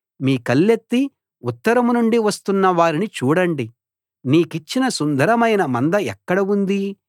మీ కళ్ళెత్తి ఉత్తరం నుండి వస్తున్న వారిని చూడండి నీకిచ్చిన సుందరమైన మంద ఎక్కడ ఉంది